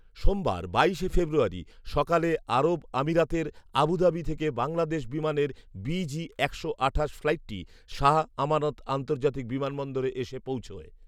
সোমবার বাইশে ফেব্রুয়ারি সকালে আরব আমিরাতের আবুধাবি থেকে বাংলাদেশ বিমানের বিজি একশো আঠাশ ফ্লাইটটি শাহ আমানত আন্তর্জাতিক বিমানবন্দরে এসে পৌঁছয়